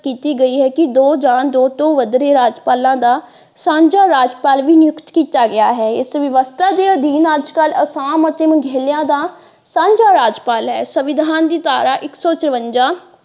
ਕੀਤੀ ਗਈ ਹੈ ਕਿ ਦੋ ਜਾ ਦੋ ਤੋਂ ਵੱਧ ਰਹੇ ਰਾਜਪਾਲਾਂ ਦਾ ਸਾਂਝਾ ਰਾਜਪਾਲ ਵੀ ਨਿਯੁਕਤ ਕੀਤਾ ਗਿਆ ਹੈ ਇਸ ਵਿਵਸਥਾ ਦੇ ਅਧੀਨ ਅੱਜਕਲ੍ਹ ਅਸਾਮ ਅਤੇ ਮੇਘਾਲਿਆ ਦਾ ਸਾਂਝਾ ਰਾਜਪਾਲ ਹੈ ਸੰਵਿਧਾਨ ਦੀ ਧਾਰਾ ਇੱਕ ਸੋ ਚਰਵੰਜਾ।